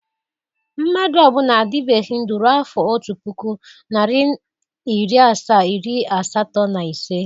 Mmadụ ọ bụla adịbegi ndu ruo afọ otu pụkụ, nari iri asaa, iri asatọ na ise.